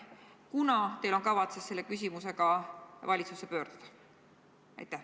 Millal on teil kavatsus selle küsimusega valitsusse pöörduda?